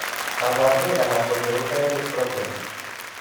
Kabarunaik alak ko cheu thyroid problems